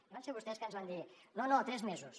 i van ser vostès que ens van dir no no tres mesos